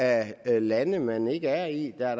af lande man ikke er i der er